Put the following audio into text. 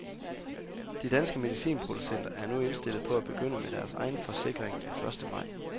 De danske medicinproducenter er nu indstillet på at begynde med deres egen forsikring den første maj.